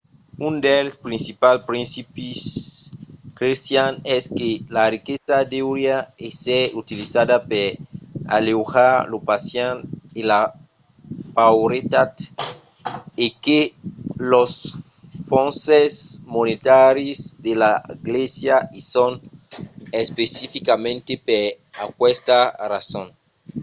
un dels principals principis crestians es que la riquesa deuriá èsser utilizada per aleujar lo patiment e la pauretat e que los fonses monetaris de la glèisa i son especificament per aquesta rason